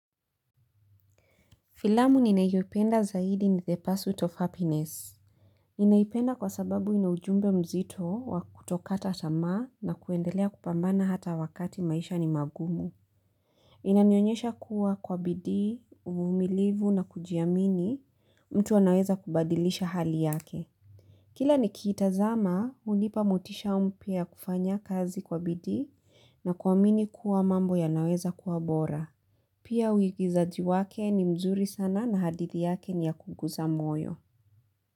Filamu ninayoipenda zaidi ni the pursuit of happiness. Ninaipenda kwa sababu inaujumbe mzito wa kutokata tamaa na kuendelea kupambana hata wakati maisha ni magumu. Inanionyesha kuwa kwa bidii, uvumilivu na kujiamini mtu anaweza kubadilisha hali yake. Kila nikiitazama, unipa motisha mpya ya kufanya kazi kwa bidii na kuamini kuwa mambo ya naweza kuwa bora. Pia uigizaji wake ni mzuri sana na hadithi yake ni ya kuguza moyo.